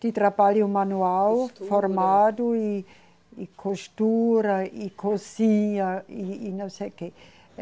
de trabalho manual formado e, e costura e cozinha e, e não sei o que.